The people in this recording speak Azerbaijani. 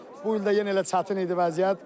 Bu ildə yenə elə çətin idi vəziyyət.